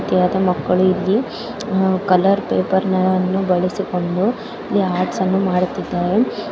Colour paper ಅನ್ನು ಬಳಸಿಕೊಂಡು ಇಲ್ಲಿ ಆರ್ಟ್ಸ್ ಅನ್ನು ಮಾಡುತ್ತಿದಾರೆ .